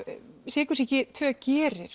sykursýki tvö gerir